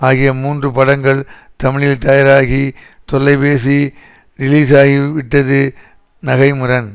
ஆகிய மூன்று படங்கள் தமிழில் தயாராகி தொல்லைபேசி ரிலீஸாகிவிட்டது நகை முரண்